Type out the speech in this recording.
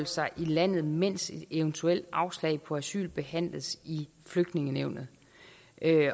sig i landet mens et eventuelt afslag på asyl behandles i flygtningenævnet